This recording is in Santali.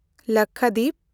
ᱞᱟᱠᱠᱷᱟᱫᱤᱯ